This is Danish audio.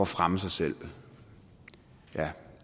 fremme sig selv ja